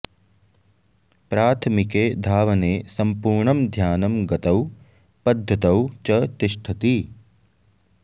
प्राथमिके धावने सम्पूर्णं ध्यानं गतौ पद्धतौ च तिष्ठति